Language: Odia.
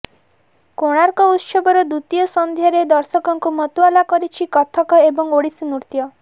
କୋଣାର୍କ ଉତ୍ସବର ଦ୍ୱିତୀୟ ସନ୍ଧ୍ୟାରେ ଦର୍ଶକଙ୍କୁ ମତୁଆଲା କରିଛି କଥକ ଏବଂ ଓଡ଼ିଶୀ ନୃତ୍ୟ